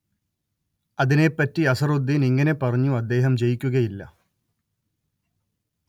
അതിനെപ്പറ്റി അസ്‌ഹറുദ്ദീൻ ഇങ്ങനെ പറഞ്ഞു അദ്ദേഹം ജയിക്കുകയില്ല